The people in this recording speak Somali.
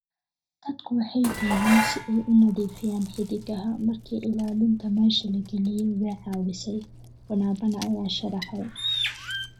Dadku waxay gooyeen si ay u nadiifiyaan xiddigaha, markii ilaalinta meesha la geliyay way caawisay," Bonabana ayaa sharraxay.